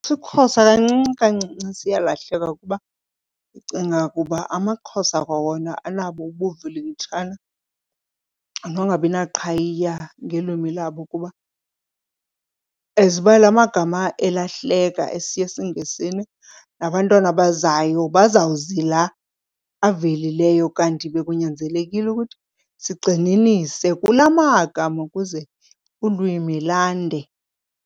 IsiXhosa kancinci kancinci siyalahleka kuba ndicinga kuba amaXhosa kwawona anabo ubuvilikitshana nongabi naqhayiya ngelwimi labo, kuba as uba la magama elahlekayo esiya esiNgesini nabantwana abazayo bazawuzi la avelileyo kanti bekunyanzelekile ukuthi sigxininise kulaa magama ukuze ulwimi lande.